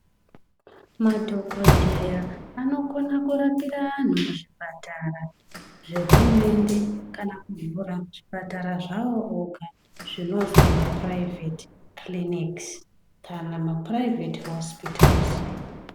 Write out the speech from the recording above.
Madhogodheya anokona kurapira vantu muzvipatara zvehurumende, kana kuvhura zvipatara zvavo oga zvinozi mapuraivheti kiriniki kana mapuraivheti hosipitari.